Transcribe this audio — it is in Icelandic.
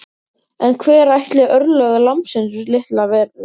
En hver ætli örlög lambsins litla verði?